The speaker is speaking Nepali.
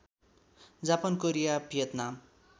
Japan Korea Vietnam